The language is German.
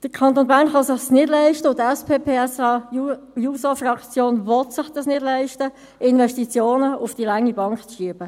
Der Kanton Bern kann es sich nicht leisten – und die SP-PSA-JUSO-Fraktion will sich dies nicht leisten –, Investitionen auf die lange Bank zu schieben.